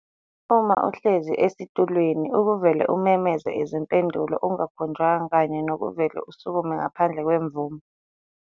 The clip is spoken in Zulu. uma uhlezi esitulweni ukuvele umemeze izimpendulo ungakhonjwanga kanye nokuvele usukume ngaphandle kwemvume.